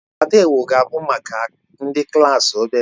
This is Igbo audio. Patewo ga-abụ maka ndị klaasị obere